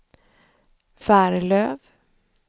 Färlöv